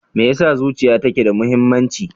Me yasa zuciya take da muhimmanci?